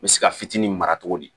N bɛ se ka fitinin mara cogo di